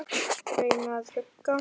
Reyna að hugga.